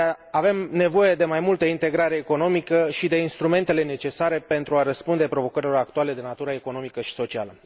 Avem nevoie de mai multă integrare economică și de instrumentele necesare pentru a răspunde provocărilor actuale de natură economică și socială.